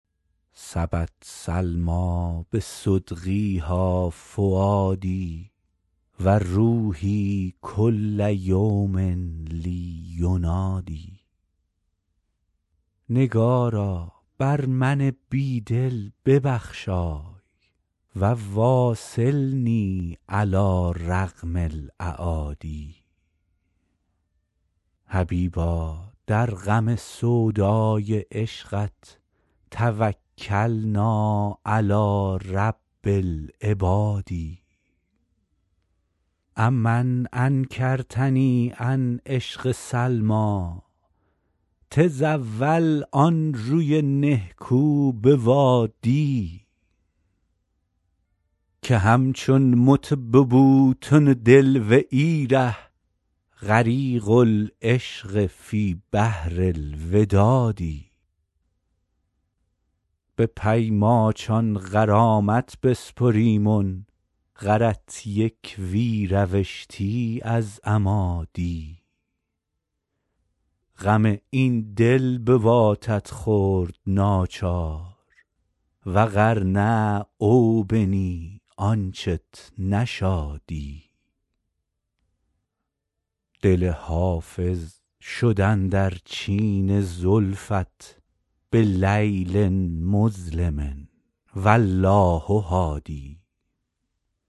سبت سلمیٰ بصدغیها فؤادي و روحي کل یوم لي ینادی نگارا بر من بی دل ببخشای و واصلني علی رغم الأعادي حبیبا در غم سودای عشقت توکلنا علی رب العباد أ من انکرتني عن عشق سلمیٰ تزاول آن روی نهکو بوادی که همچون مت به بوتن دل و ای ره غریق العشق فی بحر الوداد به پی ماچان غرامت بسپریمن غرت یک وی روشتی از اما دی غم این دل بواتت خورد ناچار و غر نه او بنی آنچت نشادی دل حافظ شد اندر چین زلفت بلیل مظلم و الله هادی